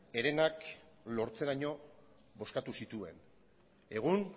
herenak lortzeraino bozkatu zituen egun